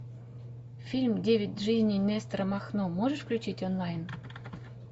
фильм девять жизней нестора махно можешь включить онлайн